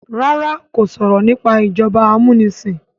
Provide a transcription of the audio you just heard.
ràrá kò sọrọ nipa ìjọba amunisin.